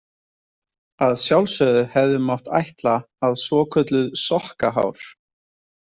Að sjálfsögðu hefði mátt ætla að svokölluð sokkahár.